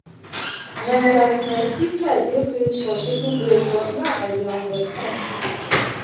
na like my sister dey craze for taking break but now i dey understand.